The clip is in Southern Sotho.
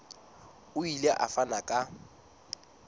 o ile a fana ka